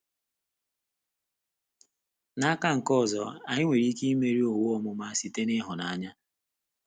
N’aka nke ọzọ, anyị nwere ike imeri owu ọmụma site n’ịhụnanya.